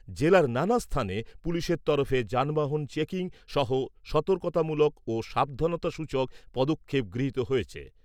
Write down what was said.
জেলার নানা স্থানে পুলিশের তরফে যানবাহন চেকিং সহ সতর্কতামূলক ও সাবধানতাসূচক পদক্ষেপ গৃহীত হয়েছে।